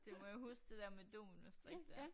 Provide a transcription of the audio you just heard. Det må jeg huske det dér med dominostrik dér